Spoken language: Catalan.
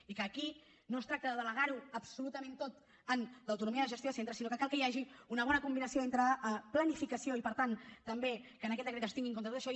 i aquí no es tracta de delegar ho absolutament tot en l’autonomia de gestió dels centres sinó que cal que hi hagi una bona combinació entre planificació i per tant també que en aquest decret es tingui en compte tot això